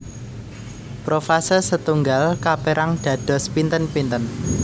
Profase setunggal kaperang dados pinten pinten